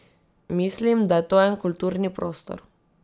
Mislim, da je to en kulturni prostor.